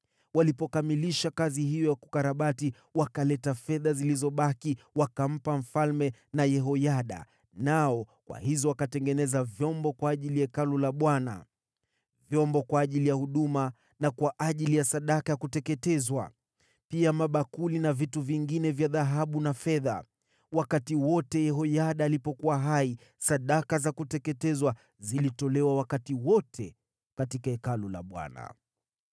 Walipokamilisha kazi hiyo ya kukarabati, wakaleta fedha zilizobaki wakampa mfalme na Yehoyada, nao kwa hizo wakatengeneza vyombo kwa ajili ya Hekalu la Bwana : Vyombo kwa ajili ya huduma na kwa ajili ya sadaka ya kuteketezwa, pia mabakuli na vitu vingine vya dhahabu na fedha. Wakati wote Yehoyada alipokuwa hai, sadaka za kuteketezwa zilitolewa wakati wote katika Hekalu la Bwana .